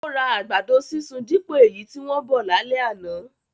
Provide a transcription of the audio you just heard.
Ó ra àgbàdo sísun dípò èyí tí wọ́n bọ̀ lálẹ́ àná